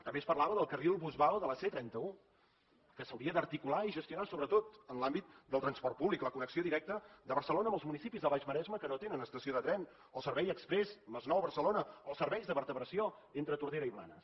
també es parlava del carril bus vao de la c trenta un que s’hauria d’articular i gestionar sobretot en l’àmbit del transport públic la connexió directa de barcelona amb els municipis del baix maresme que no tenen estació de tren el servei exprés masnou barcelona els serveis de vertebració entre tordera i blanes